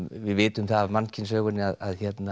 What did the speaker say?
við vitum það af mannkynssögunni að